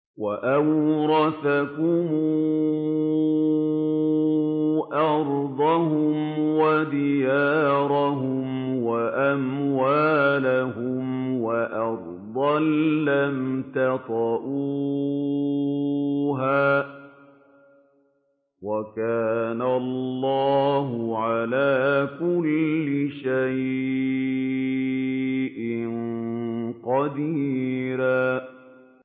وَأَوْرَثَكُمْ أَرْضَهُمْ وَدِيَارَهُمْ وَأَمْوَالَهُمْ وَأَرْضًا لَّمْ تَطَئُوهَا ۚ وَكَانَ اللَّهُ عَلَىٰ كُلِّ شَيْءٍ قَدِيرًا